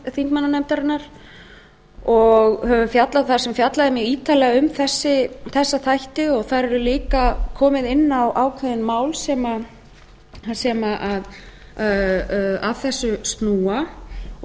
sameiginlegu þingmannanefndarinnar þar sem fjallað er mjög ítarlega um þessa þætti og þar er líka komið inn á ákveðin mál sem að þessu snúa og